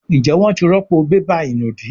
Njé wón tí rọpo bébà ìnùdí?